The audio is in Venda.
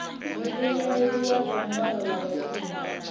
muimeli wa dzangano la vhashumi